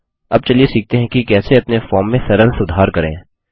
अब चलिए सीखते हैं कि कैसे अपने फॉर्म में सरल सुधार करें